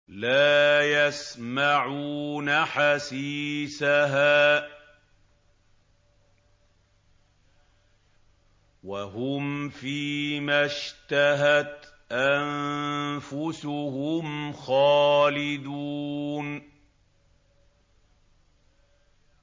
لَا يَسْمَعُونَ حَسِيسَهَا ۖ وَهُمْ فِي مَا اشْتَهَتْ أَنفُسُهُمْ خَالِدُونَ